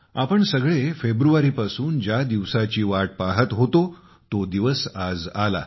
आपण सगळे फेब्रुवारी पासून ज्या दिवसाची वाट पहात होतो तो दिवस आज आला